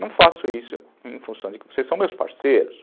Não faço isso em função de que vocês são meus parceiros.